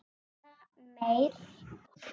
Eða meir.